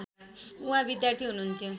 उहाँ विद्यार्थी हुनुहुन्थ्यो